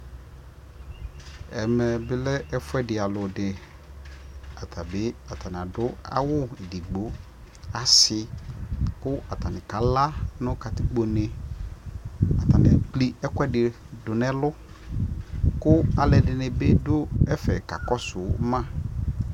ɛmɛ bi lɛ ɛƒʋɛdi alʋ di atabi ataniadʋ awʋ ɛdigbɔ, asii kʋ atani kala nʋ katikpɔ nɛ, atani ɛwʋ ɛkʋɛdi dʋnʋ ɛlʋ kʋalʋɛdini bi dʋ ɛƒɛ kakɔsʋ ma